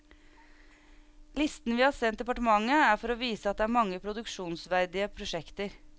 Listen vi har sendt departementet er for å vise at det er mange produksjonsverdige prosjekter.